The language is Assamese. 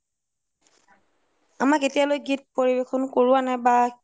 আমাক এতিয়ালৈ গীত পৰিৱেশন কৰোৱা নাই বা